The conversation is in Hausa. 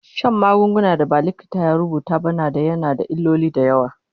Shan maganin da ba likita ya rubuta ba na yana da illoli da yawa